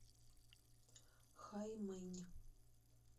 хаймэнь